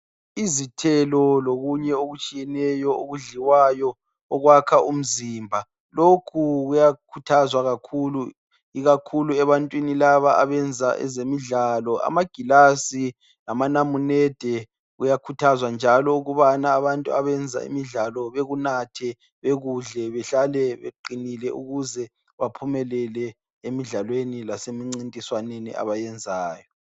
Izithelo lokunye okutshiyeneyo okudliwayo, okwakha umzimba. Lokhu kuyakhuthazwa kakhulu, ikakhulu ebantwini laba abenza ezemidlalo. Amagilazi lamanamunede kuyakhuthazwa njalo ukubana abantu abenza imidlalo bekunathe, bekudle behlale beqinile ukuze baphumelele emidlalweni lasemincintiswaneni abayenzayo.